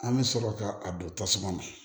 An bɛ sɔrɔ ka a don tasuma na